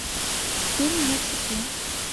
фильм на цепи